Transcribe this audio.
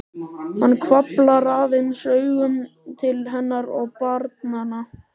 Hann hvarflar aðeins augum til hennar og barnanna.